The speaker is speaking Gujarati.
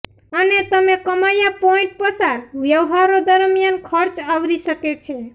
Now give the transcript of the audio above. અને તમે કમાયા પોઈન્ટ પસાર વ્યવહારો દરમિયાન ખર્ચ આવરી શકે છે